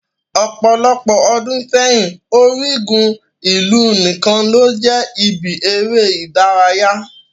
Ọpọlọpọ ọ́dùn seyin, origun ilu nikan lo jẹ ibi ere idaraya